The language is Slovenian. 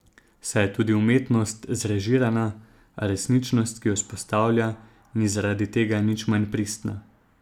Saj je tudi umetnost zrežirana, a resničnost, ki jo vzpostavlja, ni zaradi tega nič manj pristna.